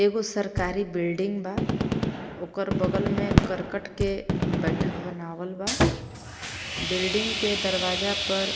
एगो सरकारी बिल्डिंग बा ओकर बगल में करकट के बैठक बनावल बा बिल्डिंग के दरवाजा पर